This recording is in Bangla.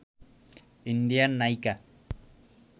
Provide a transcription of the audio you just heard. ইন্ডিয়ান নায়িকা